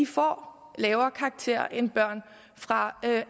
får lavere karakter end børn fra